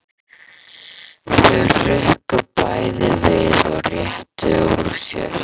Þau hrukku bæði við og réttu úr sér.